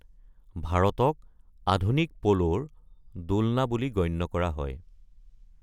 ভাৰতক আধুনিক পোলোৰ দোলনা বুলি গণ্য কৰা হয়।